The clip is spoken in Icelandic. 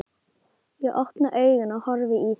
Ég opna augun og horfi í þín.